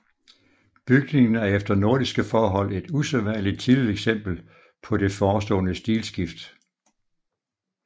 Bygningen er efter nordiske forhold et usædvanligt tidligt eksempel på det forestående stilskift